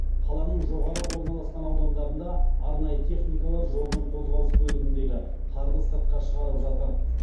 қаланың жоғары орналасқан аудандарында арнайы техникалар жолдың қозғалыс бөлігіндегі қарды сыртқа шығарып жатыр